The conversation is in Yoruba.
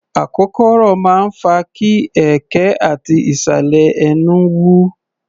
Akokoro máa ń fa kí ẹ̀ẹ̀kẹ́ ati ìsàlẹ̀ ẹnú wú.